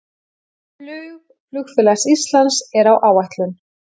Flug Flugfélags Íslands er á áætlun